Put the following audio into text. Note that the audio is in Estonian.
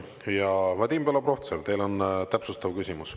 Ja, Vadim Belobrovtsev, teil on täpsustav küsimus.